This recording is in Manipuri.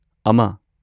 ꯑꯃ